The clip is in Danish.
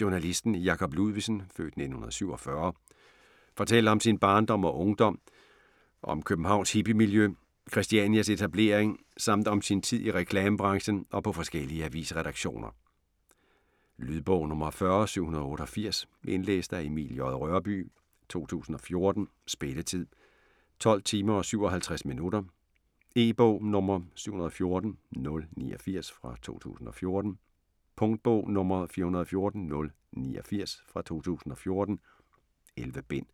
Journalisten Jacob Ludvigsen (f. 1947) fortæller om sin barndom og ungdom, om Københavns hippiemiljø, Christianias etablering, samt om sin tid i reklamebranchen og på forskellige avisredaktioner. Lydbog 40788 Indlæst af Emil J. Rørbye, 2014. Spilletid: 12 timer, 57 minutter. E-bog 714089 2014. Punktbog 414089 2014. 11 bind.